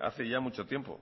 hace ya mucho tiempo